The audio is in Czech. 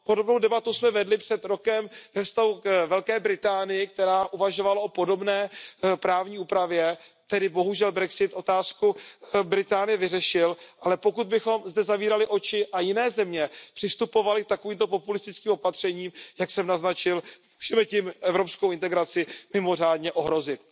Podobnou debatu jsme vedli před rokem ve vztahu k Velké Británii, která uvažovala o podobné právní úpravě, tady bohužel brexit otázku Velké Británie vyřešil, ale pokud bychom zde zavírali oči a jiné země přistupovaly k takovým populistickým opatřením, jak jsem naznačil, můžeme tím evropskou integraci mimořádně ohrozit.